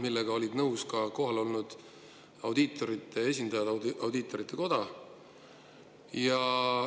Sellega olid nõus ka kohal olnud audiitorite esindajad Audiitorkogust.